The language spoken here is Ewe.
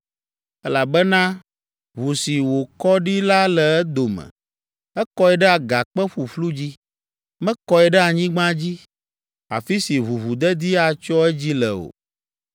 “Elabena ʋu si wòkɔ ɖi la le edome. Ekɔe ɖe agakpe ƒuƒlu dzi, mekɔe ɖe anyigba dzi, afi si ʋuʋudedi atsyɔ edzi le o.